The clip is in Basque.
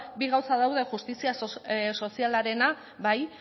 bi gauza daude justizia sozialarena bai